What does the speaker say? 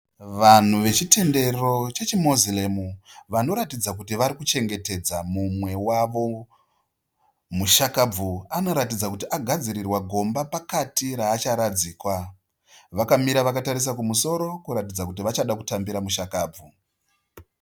Vanhu vechitendero chechiMoziremu vanoratidza kuti vari kuchengetedza mumwe wavo. Mushakabvu anoratidza kuti agadzirirwa gomba pakati raacharadzikwa. Vakamira vakatarisa kumusoro kuratidza kuti vachada kutambira mushakabvu.